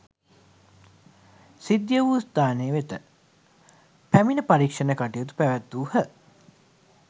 සිද්ධිය වූ ස්‌ථානය වෙත පැමිණ පරීක්‍ෂණ කටයුතු පැවැත්වූහ.